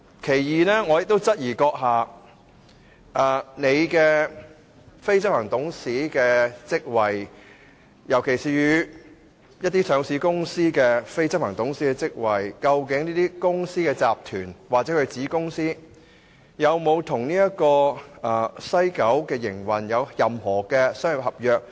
你出任非執行董事的職位，尤其是上市公司的非執行董事職位，究竟這些公司、集團或其子公司與西九的營運有沒有任何商業合約？